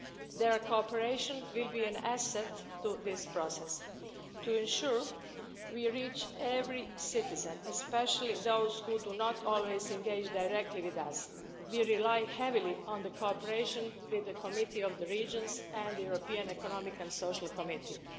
Their cooperation will be an asset to this process. To ensure we reach every citizen, especially those who do not always engage directly with us, we rely heavily on cooperation with the Committee of the Regions and the European Economic and Social Committee.